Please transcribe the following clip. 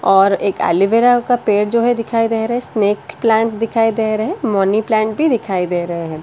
और एक एलोवेरा का पेड़ जो है दिखाई दे रहा है स्नेक प्लांट दिखाई दे रहे हैं मनी प्लांट भी दिखाई दे रहे हैं ।